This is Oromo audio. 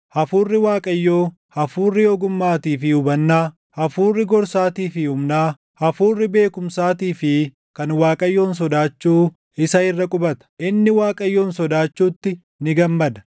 Hafuurri Waaqayyoo, Hafuurri ogummaatii fi hubannaa, Hafuurri gorsaatii fi humnaa, Hafuurri beekumsaatii fi kan Waaqayyoon sodaachuu isa irra qubata;